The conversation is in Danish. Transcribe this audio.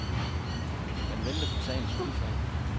Man venter på sagens udfald.